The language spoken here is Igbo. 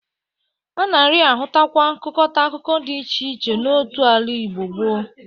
A nari-ahụtakwa nkụkọta akụkụ dị iche iche n'otu ala n'Igbo gboo.